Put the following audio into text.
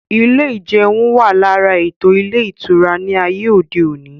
Ilé ìjeun wà lára ètò ilé ìtura ní ayé òde òní